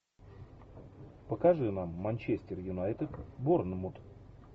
покажи нам манчестер юнайтед борнмут